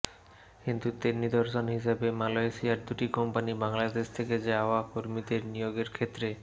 বন্ধুত্বের নিদর্শন হিসেবে মালয়েশিয়ার দুটি কোম্পানি বাংলাদেশ থেকে যাওয়া কর্মীদের নিয়োগের ক্ষেত্রে